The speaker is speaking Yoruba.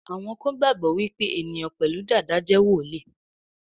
Àwọn kán gbagbọ wipe eniyan pẹlu Dàda jé woli.